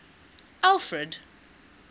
alfred